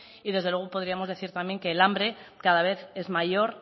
y desde luego podríamos decir también que el hambre cada vez es mayor